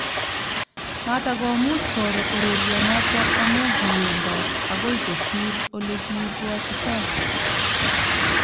Matakomuch koro urerionoto amu kiwendot agoi kosiir olekibwatitoi